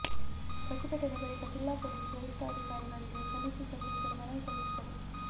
ಪ್ರತಿಭಟನೆ ಬಳಿಕ ಜಿಲ್ಲಾ ಪೊಲೀಸ್ ವರಿಷ್ಠಾಧಿಕಾರಿಗಳಿಗೆ ಸಮಿತಿ ಸದಸ್ಯರು ಮನವಿ ಸಲ್ಲಿಸಿದರು